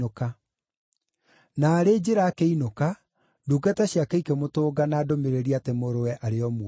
Naarĩ njĩra akĩinũka, ndungata ciake ikĩmũtũnga na ndũmĩrĩri atĩ mũrũwe arĩ o muoyo.